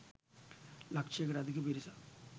ලක්ෂයකට අධික පිරිසක්